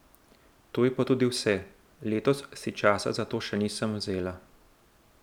To je pa tudi vse, letos si časa za to še nisem vzela.